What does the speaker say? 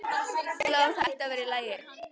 Já, það ætti að vera í lagi.